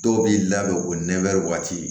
Dɔw b'i labɛn o nɛnw waati